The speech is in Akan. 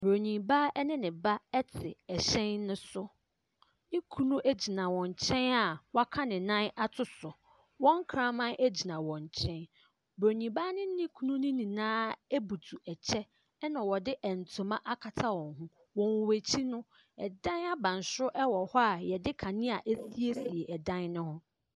Bronin baa ne ba te hyɛn no so, ne kunu gyina wɔn nkyɛn a waka ne nan ato so, wɔn kraman gyina wɔn nkyɛn. Bronin baa ne ne kunu nyinaa abutu kyɛ, na wɔde ntoma akata wɔn ho. Wɔ wɔn akyi no, dan abansoro wɔ hɔ a yɛde kanea asiesie dan ne ho.